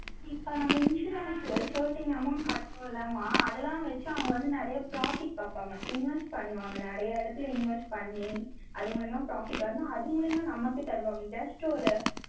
இப்ப நம்ம insurance certain amount கட்றோம் இல்லம்மா, அதெல்லாம் வச்சு, அவங்க வந்து, நிறைய profit பாப்பாங்க. invest பண்ணுவாங்க, நிறைய இடத்துல invest பண்ணி, அது மூலியமா profit வந்து, அது மூலியமா, நமக்குத் தருவாங்க. just ஒரு,